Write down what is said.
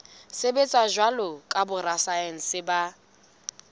sebetsa jwalo ka borasaense ba